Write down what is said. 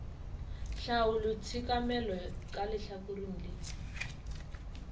tlhaolo tshekamelo ka lehlakoreng le